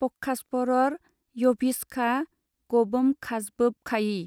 पखासपरर यभिसखा गबोमखाजबोबखायि।